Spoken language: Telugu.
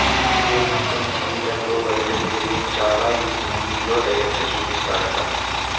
గోపీచంద్ జీవితంలో బయటకు తెలియని చాలా ఈ మూవీ లో డైరెక్ట్ చూపిస్తాడట